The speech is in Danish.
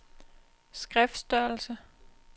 skriftstørrelse